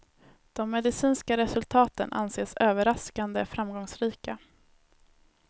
De medicinska resultaten anses överraskande framgångsrika.